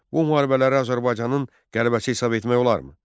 Bu müharibələrə Azərbaycanın qələbəsi hesab etmək olarmı?